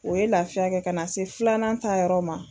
O ye lafiya kɛ ka na se filanan ta yɔrɔ ma